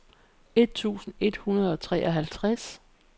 et tusind et hundrede og treoghalvtreds